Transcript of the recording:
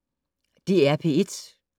DR P1